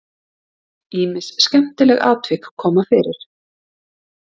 Ýmis skemmtileg atvik koma fyrir.